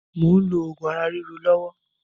Mò ń lò oògùn ara ríro lọ́wọ́